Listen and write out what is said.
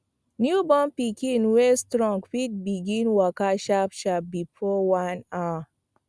newborn pikin wey strong fit begin waka sharp sharp before one hour